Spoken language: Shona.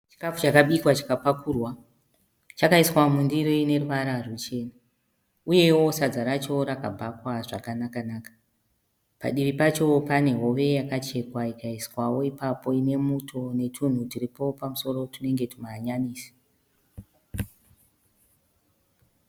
Chikafu chakabikwa chikapakurwa. Chakaiswa mundiro ine ruvara ruchena uyewo sadza racho rakabhakwa zvakanaka-naka. Padivi pacho pane hove yakachekwa ikaiswawo ipapo nemuto netunhu turipo pamusoro tunenge tumahanyanisi.